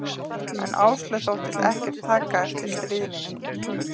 En Áslaug þóttist ekkert taka eftir stríðninni í mér.